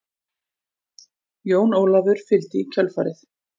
Jón Ólafur fylgdi í kjölfarið.